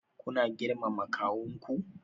Kuna girmama kawunku?